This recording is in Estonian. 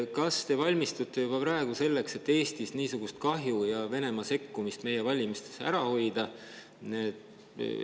Kas te valmistute juba praegu selleks, et Eestis niisugust kahju ja Venemaa sekkumist meie valimistesse ära hoida?